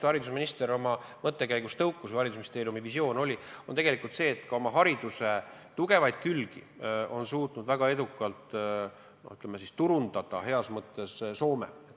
Haridusminister tõukus sellisest mõttekäigust või haridusministeeriumi visioon on see, et me suudaks oma hariduse tugevaid külgi heas mõttes turundada sama edukalt, kui on seda teinud Soome.